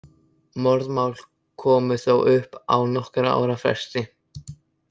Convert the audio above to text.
Morðmál komu þó upp á nokkurra ára fresti.